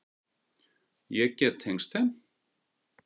Ég get tengst þeim.